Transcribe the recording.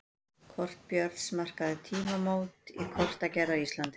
Kort Björns markaði tímamót í kortagerð á Íslandi.